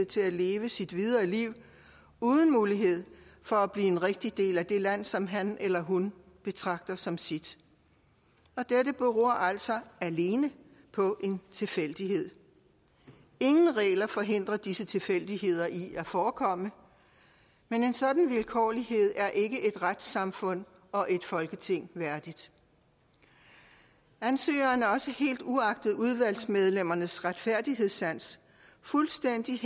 til at leve sit videre liv uden mulighed for at blive en rigtig del af det land som han eller hun betragter som sit dette beror altså alene på en tilfældighed ingen regler forhindrer disse tilfældigheder i at forekomme men en sådan vilkårlighed er ikke et retssamfund og et folketing værdigt ansøgerne er også helt uagtet udvalgsmedlemmernes retfærdighedssans fuldstændig